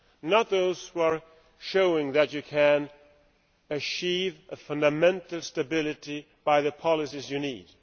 not those that are showing that you can achieve a fundamental stability by the policies you need.